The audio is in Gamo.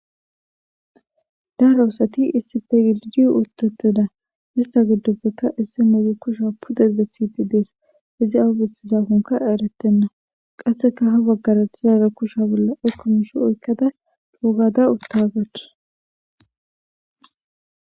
daara oosati iisipe yilii uteteda hista giddoppekka issi nuudu kusha pudedethipi dees izi awu bessisafonka eretenna qasseka ha baggaratizaara kusha bolla ekkomishi oykkada dougada uttagachu